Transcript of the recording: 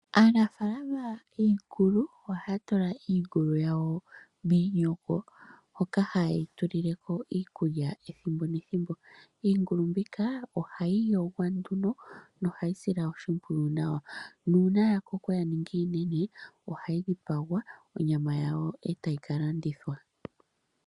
Aanafalama yiingulu ohaya tula iingulu yawo miinyingo, hoka he yeyi tulileko iikulya ethimbo nethimbo. Iingulu mbika ihayi yigwa na ohayi silwa oshimpwiyu nawa, nuuna ta koko ta ningi iinene ohayi dhipagwa, onyama yawo etayi ka landithwa.